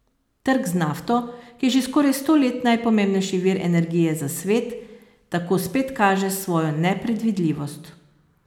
Trg z nafto, ki je že skoraj sto let najpomembnejši vir energije za svet, tako spet kaže svojo nepredvidljivost.